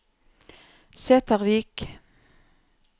Sætervik